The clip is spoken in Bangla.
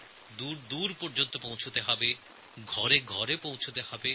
দূর দূরান্তের প্রতিটি ঘর পর্যন্ত বিদ্যুৎ পৌঁছতে হবে